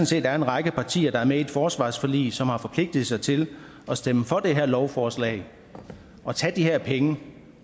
set er en række partier der er med i et forsvarsforlig som har forpligtet sig til at stemme for det her lovforslag og tage de her penge